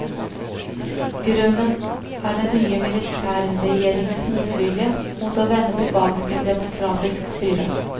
Grunnen er den nye militærregjeringens motvilje mot å vende tilbake til demokratisk styre.